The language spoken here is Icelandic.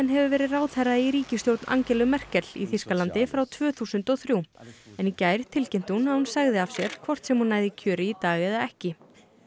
hefur verið ráðherra í ríkisstjórn Angelu Merkel í Þýskalandi frá tvö þúsund og þrjú en í gær tilkynnti hún að hún segði af sér hvort sem hún næði kjöri í dag eða ekki